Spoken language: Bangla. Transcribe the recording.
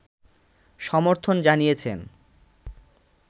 সমর্থন জানিয়েছেন